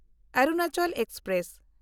Arunachal express